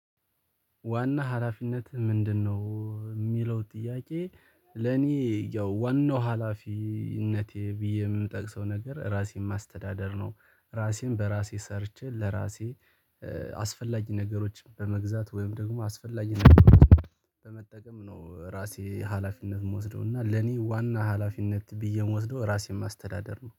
ዋና ሀላፊነትህ ምንድነው? ሚለው ጥያቄ ለኔ ያው ዋናው ሀላፊነቴ ብዬ ምጠቅሰው ነገር ራሴን ማስተዳደር ነው። ራሴን በራሴ ሰርቼ ለራሴ አስፈላጊ ነገሮችን በመግዛት ወይም ደግሞ አስፈላጊ ነገሮች በመጠቀም ነው ራሴ ሀላፊነት ምወስደው እና ለኔ ዋና ሀላፊነት ብዬ ምወስደው ራሴን ማስተዳደር ነው